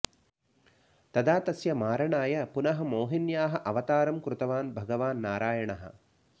तदा तस्य मारणाय पुनः मोहिन्याः अवतारं कृतवान् भगवान् नारायणः